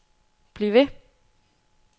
bliv ved